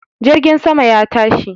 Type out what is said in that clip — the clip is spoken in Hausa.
Jirgin sama ya tashi